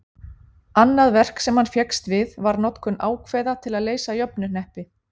annað verk sem hann fékkst við var notkun ákveða til að leysa jöfnuhneppi